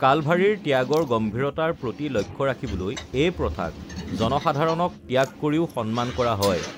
কালভাৰীৰ ত্যাগৰ গম্ভীৰতাৰ প্ৰতি লক্ষ্য ৰাখিবলৈ, এই প্ৰথাক জনসাধাৰণক ত্যাগ কৰিও সন্মান কৰা হয়৷